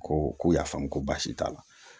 Ko k'u y'a faamu ko baasi t'a la